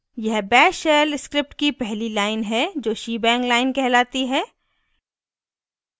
यह bash shell script की पहली line है जो शीबैंग line कहलाती है